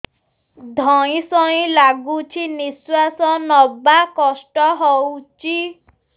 ଧଇଁ ସଇଁ ଲାଗୁଛି ନିଃଶ୍ୱାସ ନବା କଷ୍ଟ ହଉଚି